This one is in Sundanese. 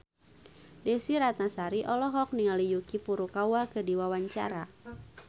Desy Ratnasari olohok ningali Yuki Furukawa keur diwawancara